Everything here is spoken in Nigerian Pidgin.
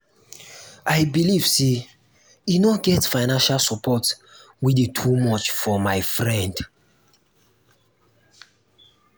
i believe sey um e no um get financial support wey dey too much for my um friend.